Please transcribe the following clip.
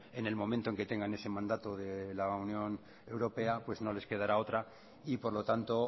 en el momento en que tengan ese mandato de la unión europea pues no les quedará otra y por lo tanto